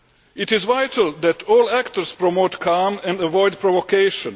It is vital that all actors promote calm and avoid provocation.